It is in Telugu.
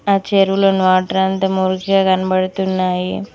ఆ చెరువు లో వాటర్ అంత మురికిగా కనపడ్తున్నాయి.